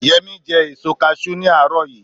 yemi je èso cashew ní àárò yi